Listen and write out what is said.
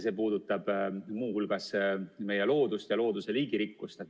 See puudutab muu hulgas meie loodust ja looduse liigirikkust.